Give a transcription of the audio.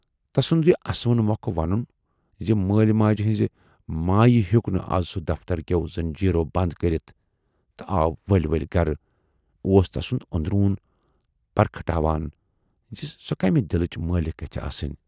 تَسُند یہِ اسوٕنہِ مۅکھٕ ونُن زِ مٲلۍ ماجہِ ہٕنزِ مایہِ ہیوک نہٕ از سُہ دفتر کٮ۪و زنجیٖرو بَند کٔرِتھ تہٕ آو ؤلۍ ؤلۍ گرٕ، اوُس تَسُند اندروٗن پرکھٹاوان زِ سۅ کمہِ دِلٕچ مٲلِکھ گژھِ آسٕنۍ۔